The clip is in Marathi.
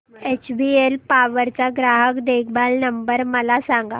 एचबीएल पॉवर चा ग्राहक देखभाल नंबर मला सांगा